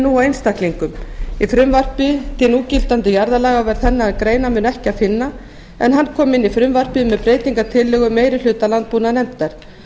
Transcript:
nú á einstaklingum í frumvarpi til núgildandi jarðalaga var þennan greinarmun ekki að finna en hann kom inn í frumvarpið með breytingartillögu meiri hluta landbúnaðarnefndar